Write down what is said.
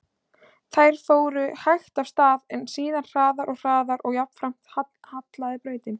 Þær fóru hægt af stað, en síðan hraðar og hraðar og jafnframt hallaði brautin.